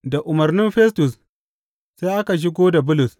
Da umarnin Festus, sai aka shigo da Bulus.